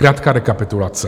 Krátká rekapitulace.